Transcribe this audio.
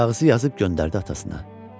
Kağızı yazıb göndərdi atasına.